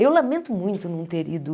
Eu lamento muito não ter ido.